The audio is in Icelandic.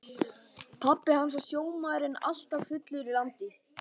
Pabbi hans var sjómaður en alltaf fullur í landi.